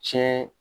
Tiɲɛ